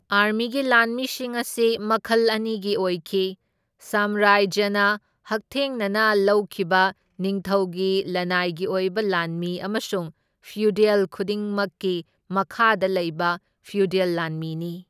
ꯑꯥꯔꯃꯤꯒꯤ ꯂꯥꯟꯃꯤꯁꯤꯡ ꯑꯁꯤ ꯃꯈꯜ ꯑꯅꯤꯒꯤ ꯑꯣꯏꯈꯤ, ꯁꯥꯝꯔꯥꯖ꯭ꯌꯅ ꯍꯛꯊꯦꯡꯅꯅ ꯂꯧꯈꯤꯕ ꯅꯤꯡꯊꯧꯒꯤ ꯂꯅꯥꯏꯒꯤ ꯑꯣꯏꯕ ꯂꯥꯟꯃꯤ ꯑꯃꯁꯨꯡ ꯐ꯭ꯌꯨꯗꯦꯜ ꯈꯨꯗꯤꯡꯃꯛꯀꯤ ꯃꯈꯥꯗ ꯂꯩꯕ ꯐ꯭ꯌꯨꯗꯦꯜ ꯂꯥꯟꯃꯤꯅꯤ꯫